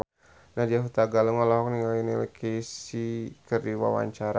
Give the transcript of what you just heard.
Nadya Hutagalung olohok ningali Neil Casey keur diwawancara